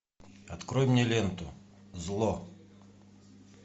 открой мне ленту зло